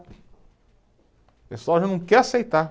O pessoal já não quer aceitar.